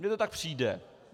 Mně to tak přijde.